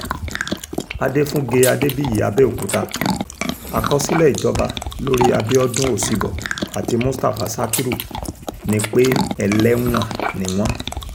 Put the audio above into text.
adéfúnge adébíyí abẹ́òkúta àkọsílẹ̀ ìjọba lórí abiodun ọsibọh àti mustapha sakiru ni pé ẹlẹ́wọ̀n ni wọ́n